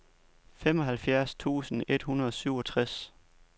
femoghalvfjerds tusind et hundrede og syvogtres